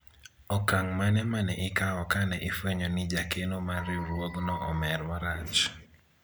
okang' mane mane ikawo kane ifwenyo ni jakeno mar riwruogno omer marach